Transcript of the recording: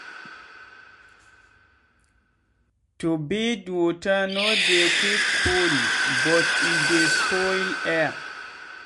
turbid water no dey quick cold but e dey spoil air